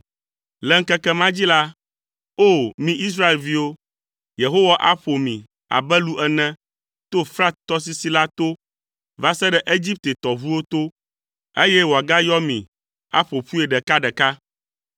Le ŋkeke ma dzi la, O! Mi Israelviwo, Yehowa aƒo mi abe lu ene tso Frat tɔsisi la to va se ɖe Egipte tɔʋuwo to, eye wòagayɔ mi aƒo ƒui ɖeka ɖeka.